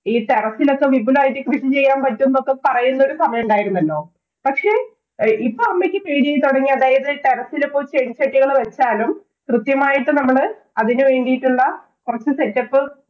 ഈ terrace ഇലൊക്കെ വിപുലമായിട്ട് കൃഷി ചെയ്യാം എന്നൊക്കെ പറ്റും എന്നൊക്കെ പറയുന്ന ഒരു സമയം ഉണ്ടാരുന്നല്ലോ. പക്ഷേ ഇപ്പം അമ്മക്ക് പേടിയായി തൊടങ്ങി. അതായത്, terrace ഇലും ഇപ്പോള്‍ ചെടിചെട്ടികള്‍ വക്കാനും, കൃത്യമായിട്ട്‌ നമ്മള് അതിനു വേണ്ടീട്ടുള്ള കൊറച്ചു setup